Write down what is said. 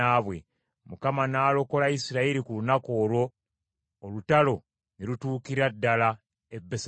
Mukama n’alokola Isirayiri ku lunaku olwo, olutalo ne lutuukira ddala e Besaveni.